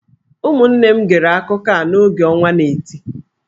Ụmụnne m gere akụkọ a n’oge ọnwa n'eti.